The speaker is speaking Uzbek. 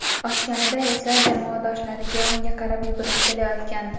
Ochganida esa jamoadoshlariga unga qarab yugurib kelayotgandi.